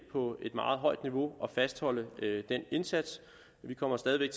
på et meget højt niveau og fastholder den indsats vi kommer stadig væk